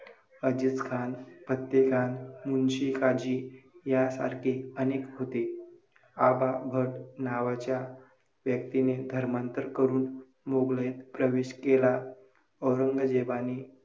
अजीजखान, फत्तेखान, मुन्शी काझी या सारखे अनेक होते. आबाभट नावाच्या व्यक्तीने धर्मांतर करून मोघलाईत प्रवेश केला. औरंगजेबाने